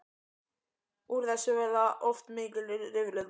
Úr þessu verða oft mikil rifrildi.